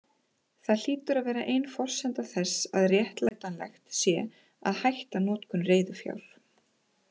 Það hlýtur að vera ein forsenda þess að réttlætanlegt sé að hætta notkun reiðufjár.